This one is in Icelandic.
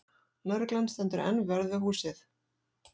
Lögreglan stendur enn vörð við húsið